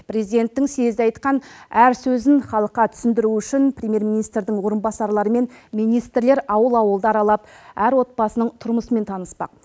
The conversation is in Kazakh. президенттің съезде айтқан әр сөзін халыққа түсіндіру үшін премьер министрдің орынбасарлары мен министрлер ауыл ауылды аралап әр отбасының тұрмысымен таныспақ